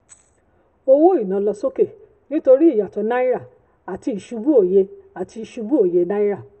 owó iná lọ sókè nítorí ìyàtọ̀ náírà àti ìṣubú òye àti ìṣubú òye náírà.